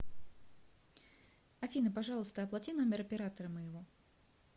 афина пожалуйста оплати номер оператора моего